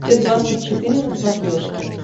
т двадцать четыре на смотрешке